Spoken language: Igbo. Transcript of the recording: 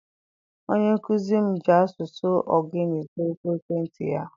Onye nkuzi m ji asụsụ Ogoni zaa oku ekwentị ya.